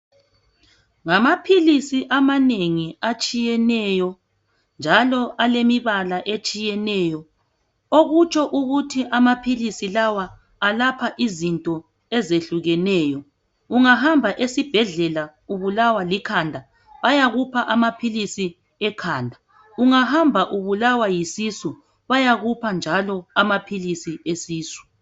Ngamaphilisi amanengi atshiyeneyo njalo alemibala etshiyeneyo okutsho ukuthi amaphilisi lawa alapha izinto ezehlukeneyo. Ungahamba esibhedlela ubulawa likhanda bayakupha amaphilisi ekhanda, ungahamba ubulawa yisisu bayakupha njalo amaphilisi esisu.